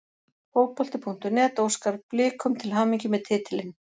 Fótbolti.net óskar Blikum til hamingju með titilinn.